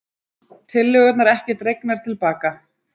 Tillögurnar ekki dregnar til baka